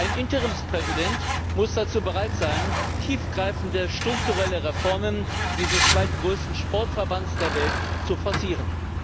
Ein Interimspräsident muss dazu bereit sein, tiefgreifende strukturelle Reformen dieses zweitgrößten Sportverbands der Welt zu forcieren.